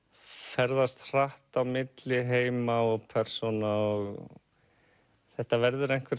ferðast hratt á milli heima og persóna og þetta verður einhver